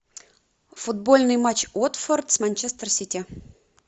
футбольный матч уотфорд с манчестер сити